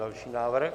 Další návrh.